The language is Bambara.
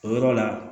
O yɔrɔ la